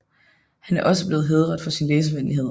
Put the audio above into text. Han er også blevet hædret for sin læsevenlighed